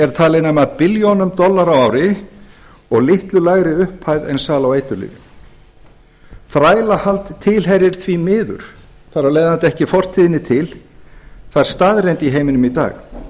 er talin nema billjónum dollara á ári og litlu lægri upphæð en sala á eiturlyfjum þrælahald tilheyrir því miður þar af leiðandi ekki fortíðinni til það er staðreynd í heiminum í dag